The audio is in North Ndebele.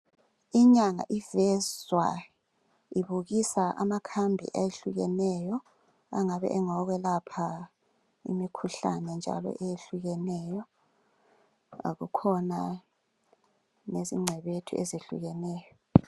Inyanga evezwa ibukisa amakhambi ehlukeneyo engabe engokwelapha imikhuhlane njalo eyehlukeneyo kukhona lezingcebethu ezehlukeneyo.